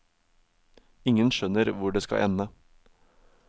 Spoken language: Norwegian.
Ingen skjønner hvor det skal ende.